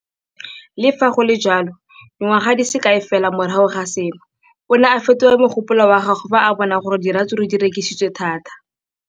Le fa go le jalo, dingwaga di se kae fela morago ga seno, o ne a fetola mogopolo wa gagwe fa a bona gore diratsuru di rekisiwa thata.